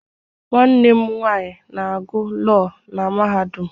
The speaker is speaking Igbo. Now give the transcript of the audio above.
Nwanne m nwaanyị na-agụ Lọọ na mahadum.